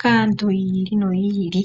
kaantu yi ili noyi ili.